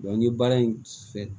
n ye baara in fɛ